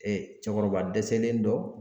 cɛkɔrɔba dɛsɛlen dɔ.